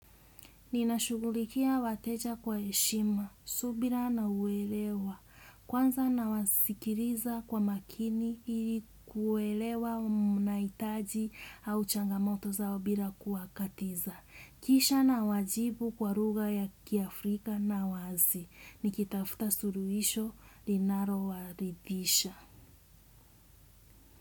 Ninashugulikia wateja kwa eshima, subira na uwelewa. Kwanza nawasikiriza kwa makini kuelewa na maitaji au changamoto zao bila kuwakatiza. Kisha na wajibu kwa ruga ya kiafrika na wazi. Nikitafuta suruisho linaro waridisha.